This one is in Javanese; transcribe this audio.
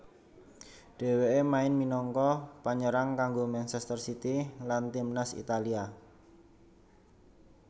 Dhèwêké main minangka panyerang kanggo Manchester City lan timnas Italia